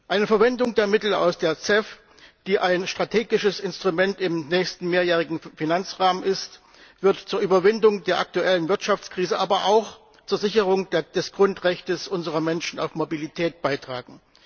Eine Verwendung der Mittel aus der CEF, die ein strategisches Instrument im nächsten mehrjährigen Finanzrahmen ist, wird zur Überwindung der aktuellen Wirtschaftskrise, aber auch zur Sicherung des Grundrechts unserer Menschen auf Mobilität beitragen.